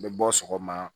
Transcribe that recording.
N bɛ bɔ sɔgɔma